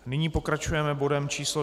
Nyní pokračujeme bodem číslo